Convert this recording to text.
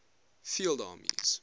field armies